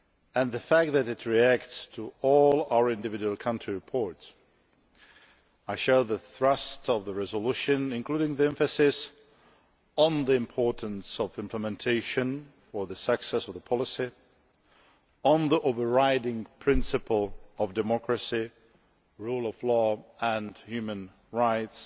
and the fact that it reacts to all our individual country reports. I share the thrust of the resolution, including the emphasis on the importance of implementation for the success of the policy, the overriding principle of democracy, rule of law and human rights,